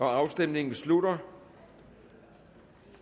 afstemningen slutter